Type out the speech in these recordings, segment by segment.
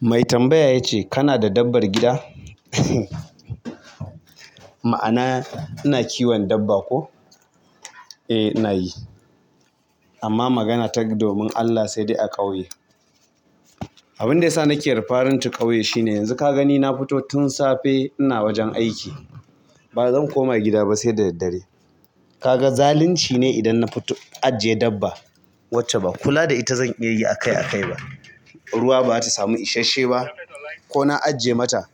Mai tambaya ya ce kana da dabbar gida? Ma'ana ina kiwon dabba ko? Eh ina yi, amma magana ta domin Allah sai dai a ƙauye. Abinda yasa nake referring to ƙauye shine yanzu kagani nafito tun safe ina wajen aiki bazan koma ba saida daddare. Kaga zalunci ne idan na ajiye dabba wacce ba kula da ita zan iya yi a kai a kai ba. Ruwa ba ta samu ishashshe ba ko na ajiye mata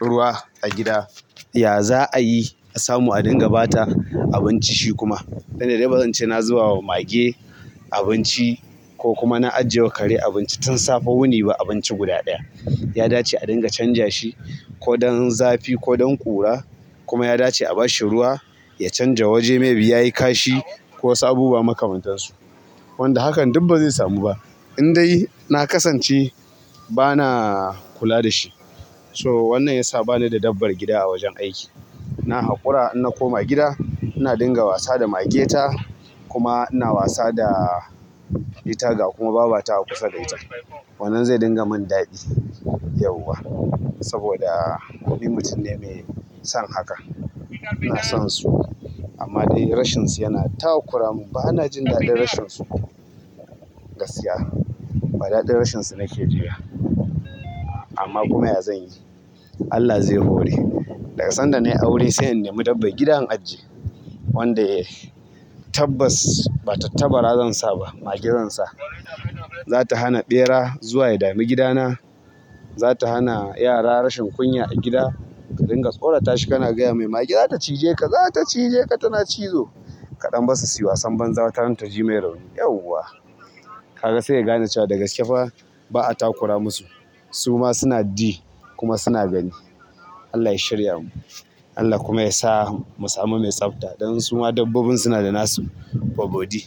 ruwa a gida, ya za'a yi a samu a dinga ba ta abinci shi kuma? Duk da dai bazance na zuba wa mage abinci ko kuma na ajiye wa kare abinci tun safe wuni ba abinci guda ɗaya. Ya dace a dinga canja shi ko don zafi ko don ƙura kuma ya dace a bashi ya canja waje maybe yayi kashi ko wasu abubuwa makamantansu wanda hakan duk ba zai samu ba. In dai na kasance ba na kula da shi. So wannan ya sa ba ni da dabbar gida a wajen aiki. Na haƙura inna koma gida, ina dinga wasa da mage ta kuma ina wasa da ita ga kuma babata a kusa da ita. Wannan zai dinga mun daɗi yauwa saboda ni mutum ne mai son haka. Inason su amma dai rashinsu yana takuramin ba ana jin daɗin rashin su gaskiya ba, daɗin rashin su nake ji ba. Amma kuma ya zan yi, Allah zai hore. Daga sanda na yi aure sai in nemi dabbar gida in ajiye. Wanda yai tabbas ba tattabara zan sa ba, mage zan sa. Za ta hana ɓera zuwa ya dami gidana. Za ta hana yara rashin kunya a gida. Ka dinga tsorata shi kana gaya mai "mage za ta cije ka, za ta cije ka tana cizo" kaɗan bassu suyi wasan banza wata ranta ji mai rauni yauwa. Kaga sai ya gane cewa daga gaske fa ba'a takura masu. Su ma suna ji kuma suna gani. Allah ya shirya mu, Allah kuma ya sa mu samu mai tsafta don su ma dabbobin suna da nasu babodi.